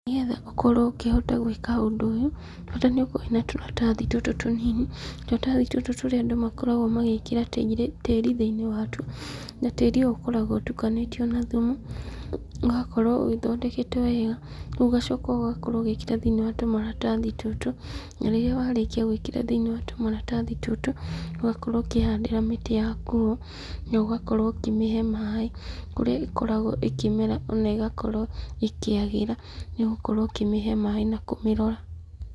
Nĩgetha ũkorwo ũkĩhota gwĩka ũndũ ũyũ, bata nĩũkorwo wĩna tũratathi tũtũ tũnini, tũratathi tũtũ tũrĩa andũ makoragwo magĩkĩra tĩri thĩinĩ wa tuo, na tĩri ũyũ ũkoragwo ũtukanĩtio na thumu, ũgakorwo ũgĩthondeketwo wega, rĩu ũgacoka ũgakorwo ũgĩkĩra thĩinĩ wa tũmaratathi tũtũ, na rĩrĩa warĩkia gũikĩra thĩinĩ wa tũmaratathi tũtũ, ũgakorwo ũkĩhandĩra mĩtĩ yaku ho, nogakorwo ũkĩmĩhe maĩ, kũrĩa ĩkoragwo ĩkĩmera ona ĩgakorwo ĩkĩagĩra, nĩgũkorwo ũkĩmĩhe maĩ na kũmĩrora.